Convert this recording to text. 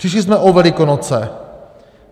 Přišli jsme o Velikonoce.